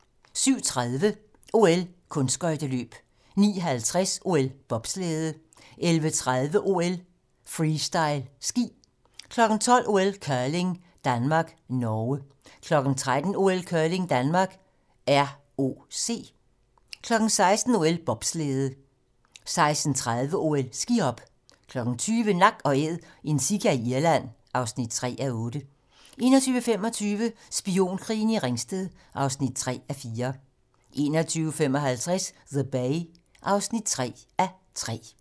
07:35: OL: Kunstskøjteløb 09:50: OL: Bobslæde 11:30: OL: Freestyle ski 12:00: OL: Curling - Danmark-Norge 13:00: OL: Curling - Danmark-ROC 16:00: OL: Bobslæde 16:30: OL: Skihop 20:00: Nak & Æd - en sika i Irland (3:8) 21:25: Spionkrigen i Ringsted (3:4) 21:55: The Bay (3:3)